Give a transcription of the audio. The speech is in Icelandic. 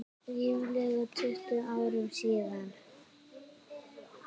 Ríflega tuttugu árum síðar.